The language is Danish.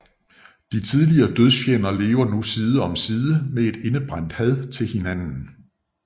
De tidligere dødsfjender lever nu side om side med et indebrændt had til hinanden